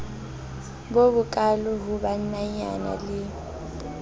bo bokaalo ho bannanyana le